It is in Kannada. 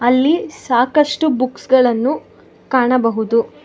ಅಲ್ಲಿ ಸಾಕಷ್ಟು ಬುಕ್ಸ್ ಗಳನ್ನು ಕಾಣಬಹುದು.